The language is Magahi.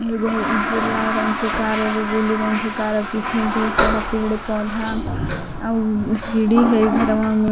एगो उजला रंग के कार एगो ब्लू रंग के कार पीछे ढेर सारा पेड़ पौधा और सीढ़ी हैई घरवा में।